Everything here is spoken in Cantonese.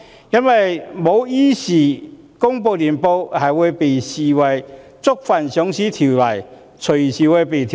因為公司如果不依時公布年報，會被視為觸犯《上市規則》，隨時會被停牌。